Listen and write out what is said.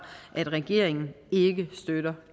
at regeringen ikke støtter